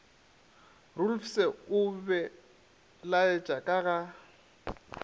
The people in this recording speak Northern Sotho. roelofse o belaetše ka ga